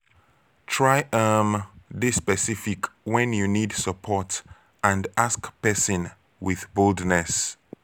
try um de specific when you need support and ask persin with boldness